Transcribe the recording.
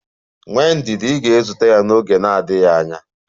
Nwee ndidi, ị ga-ezute ya n'oge na-adịghị anya.